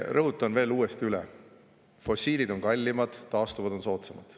Rõhutan veel uuesti: fossiilid on kallimad, taastuvad on soodsamad.